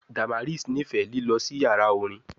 Damaris nifẹ lilọ si yara orin